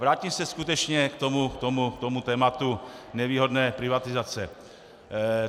Vrátím se skutečně k tomu tématu nevýhodné privatizace.